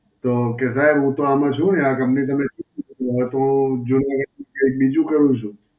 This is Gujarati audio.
તો કહે સાહેબ હું તો આમાં છું નહીં આ કંપની તમે તો જોકે કઈક કઈક બીજું કરવું કરવું છે?